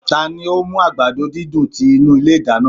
Tani o mu agbado didùn ti inu ile idana?